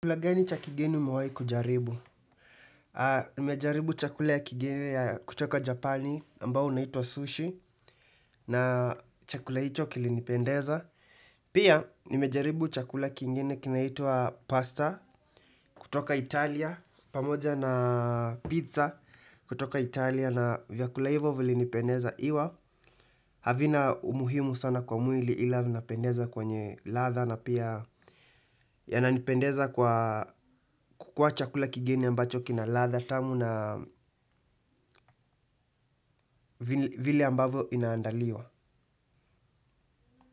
Chakula gani cha kigeni umewai kujaribu? Nimejaribu chakula ya kigeni kutoka Japani ambao unaitwa sushi na chakula hicho kilinipendeza. Pia nimejaribu chakula kingine kinaitwa pasta kutoka Italia pamoja na pizza kutoka Italia na vyakula hivyo vilinipendeza iwa. Havina umuhimu sana kwa mwili ila vinapendeza kwenye ladha na pia yananipendeza kwa kukua chakula kigeni ambacho kina ladha tamu na vile ambavyo inaandaliwa.